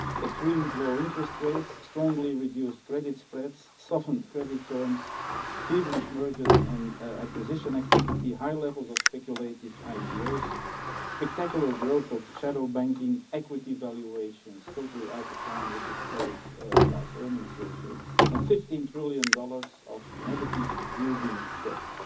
Extreme low interest rates, strongly reduced credit spreads, softened credit terms, feverish mergers and acquisition activity, high levels of speculative IPOs, spectacular growth of shadow banking, equity valuations totally out of line with historic price earnings ratios, and USD 15 trillion of negative yielding debt.